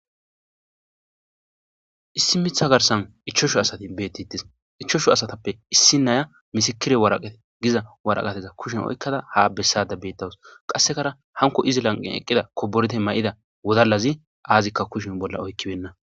issi mitha garsan ichoshu asati beettitis ichoshu asatappe issi naya misikire waraqate giza waraqateza kushen oykkada ha bessade beettawus qassekara hanko izi lanqin eqqida koborete may7ida wodalazi aazikka kushen bolla oykkibenna